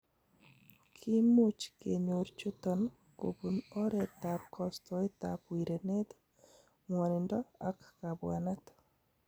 Kimuch kenyor chuton kobun oretab kostoetab wirenet, ng'wonindo ak kabwanet.